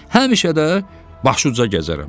Həmişə də başıuca gəzərəm.